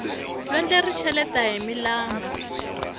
lwandle ri cheleta hi milambu